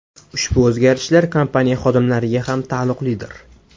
Ushbu o‘zgarishlar kompaniya xodimlariga ham taalluqlidir.